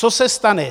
Co se stane?